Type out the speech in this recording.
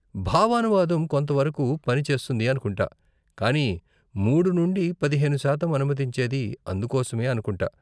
భావానువాదం కొంత వరకు పని చేస్తుంది అనుకుంటా, కానీ మూడు నుండి పదిహేను శాతం అనుమతించేది అందుకోసమే అనుకుంటా.